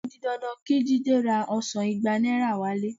O di dandan kí Jídé ra ọsàn igba náírà wálé